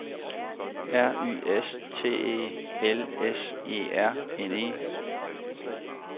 R Y S T E L S E R N E